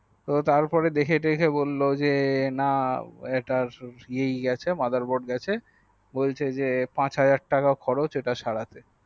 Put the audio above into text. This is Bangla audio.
তো তারপরে দেখে টেখে বললো যে না এটার mother board গেছে বলছে যে পাচ্ হাজার টাকা খরচ ইটা সারাতে